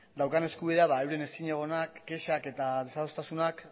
daukan eskubidea euren ezinegonak kexak eta desadostasunak